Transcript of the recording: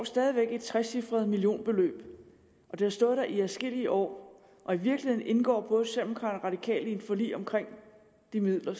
stadig væk et trecifret millionbeløb det har stået der i adskillige år og i virkeligheden indgår både og radikale i et forlig omkring de midler